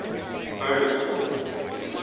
bugersfort